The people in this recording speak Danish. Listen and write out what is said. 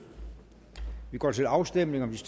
og vi går til afstemning om de